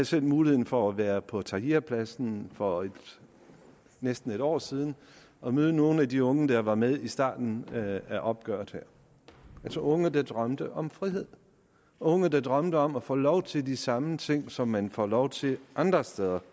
selv muligheden for at være på tahrirpladsen for næsten en år siden og møde nogle af de unge der var med i starten af opgøret altså unge der drømte om frihed unge der drømte om at få lov til de samme ting som man får lov til andre steder